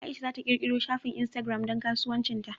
Aisha za ta ƙirƙiro shafin Instagram don kasuwancin ta.